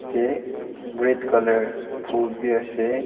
ite red colour phool bi ase.